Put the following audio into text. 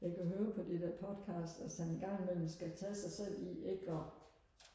jeg kan høre på de der podcast at han en gang i mellem skal tage sig selv i ikke og